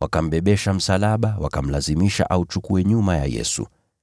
Wakambebesha msalaba, wakamlazimisha auchukue nyuma ya Yesu.